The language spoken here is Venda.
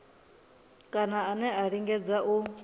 kana ane a lingedza u